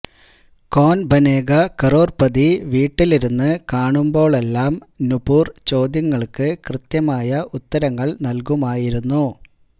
കോന് ബനേഗാ ക്രോര്പതി വീട്ടിലിരുന്ന് കാണുമ്പോഴെല്ലാം നൂപുര് ചോദ്യങ്ങള്ക്ക് കൃത്യമായ ഉത്തരങ്ങള് നല്കുമായിരുന്നു